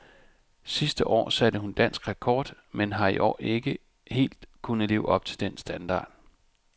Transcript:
Sidste år satte hun dansk rekord men har i år ikke helt kunnet leve op til den standard.